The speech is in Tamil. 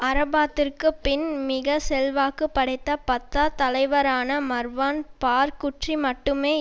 அரஃபாத்திற்கு பின் மிக செல்வாக்குப்படைத்த பத்தா தலைவரான மர்வான் பார்குற்றி மட்டுமே